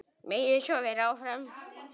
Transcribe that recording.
Megi svo vera áfram.